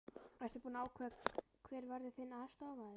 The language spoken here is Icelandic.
Ertu búinn að ákveða hver verður þinn aðstoðarmaður?